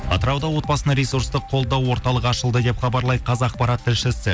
атырауда отбасына ресурстық қолдау орталығы ашылды деп хабарлайды қазақпарат тілшісі